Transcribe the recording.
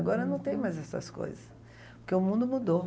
Agora não tem mais essas coisas, porque o mundo mudou.